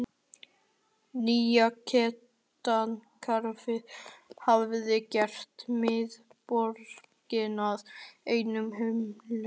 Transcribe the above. Nýja gatnakerfið hafði gert miðborgina að einum umferðarhnút.